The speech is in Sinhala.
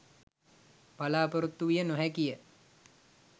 බලාපොරොත්තු විය නොහැකි ය.